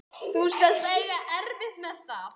Þú skalt eiga erfitt með það.